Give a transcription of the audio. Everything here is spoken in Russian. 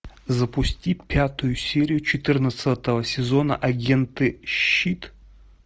запусти пятую серию четырнадцатого сезона агенты щит